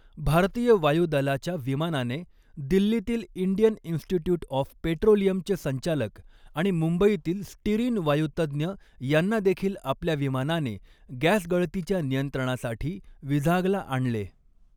भारतीय वायुदलाच्या विमानाने दिल्लीतील इंडियन इन्स्टिट्यूट ऑफ पेट्रोलियमचे संचालक आणि मुंबईतील स्टिरीन वायूतज्ञ यांना देखील आपल्या विमानाने गॅसगळतीच्या नियंत्रणासाठी विझागला आणले.